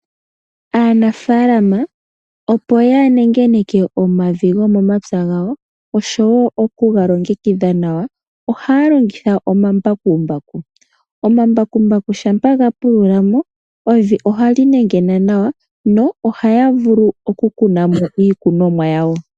Aanafaalama opo yanengeneke omavi gomomatsa gawo oshowo okuga longekadha nawa ,ohaya longitha omambakumbaku. Omambakumbaku shampa gapululamo, evi ohali nengena nawa nohaya vulu okukunamo iikunomwa yawo.